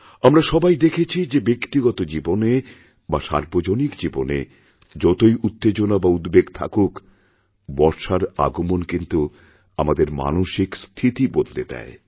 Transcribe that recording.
আমরা সবাই দেখেছি যে ব্যক্তিগত জীবনে বা সার্বজনিকজীবনে যতই উত্তেজনা বা উদ্বেগ থাকুক বর্ষার আগমন কিন্তু আমাদের মানসিক স্থিতিবদলে দেয়